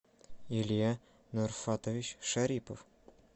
илья нурфатович шарипов